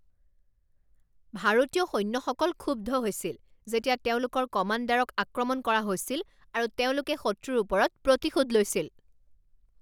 ভাৰতীয় সৈন্যসকল ক্ষুব্ধ হৈছিল যেতিয়া তেওঁলোকৰ কমাণ্ডাৰক আক্ৰমণ কৰা হৈছিল আৰু তেওঁলোকে শত্ৰুৰ ওপৰত প্ৰতিশোধ লৈছিল।